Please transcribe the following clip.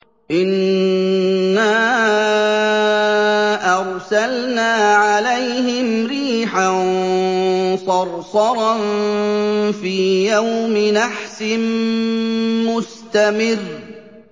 إِنَّا أَرْسَلْنَا عَلَيْهِمْ رِيحًا صَرْصَرًا فِي يَوْمِ نَحْسٍ مُّسْتَمِرٍّ